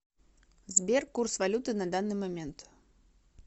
сбер курс валюты на данный момент